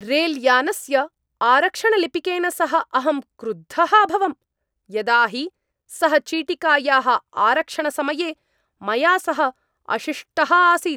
रेलयानस्य आरक्षणलिपिकेन सह अहं क्रुद्धः अभवम्, यदा हि सः चीटिकायाः आरक्षणसमये मया सह अशिष्टः आसीत्।